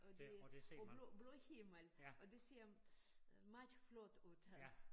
Og det og blå blå himmel og det ser øh meget flot ud ja